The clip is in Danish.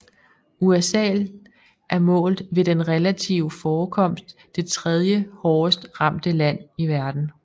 USA er målt ved den relative forekomst det tredje hårdest ramte land i verden